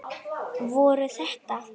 Voru þetta.